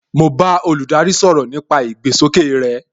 Mo bá olùdarí sọ̀rọ̀ nípa ìgbésókè rey